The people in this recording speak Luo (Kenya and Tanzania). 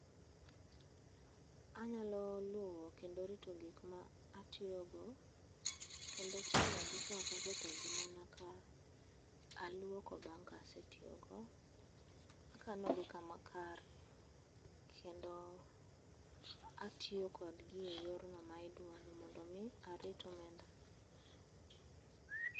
Anyalo luwo kendo rito gikma atiyogo, kendo chanogi ka ok aketho ngimana ka aluoko bang' ka asetiyogo. Akanogi kama kare kendo atiyo kodgi e yorno ma idwaro mondo arit omenda.